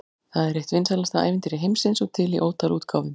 Það er eitt vinsælasta ævintýri heimsins og til í ótal útgáfum.